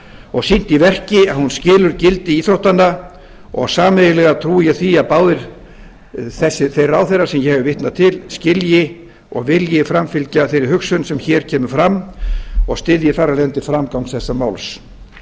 og sýnt í verki að hún skilur gildi íþróttanna og sameiginlega trúi ég því að báðir þeir ráðherrar sem ég vitna til skilji og vilji framfylgja þeirri hugsun sem hér kemur fram og styðji þar af leiðandi framgang þessa máls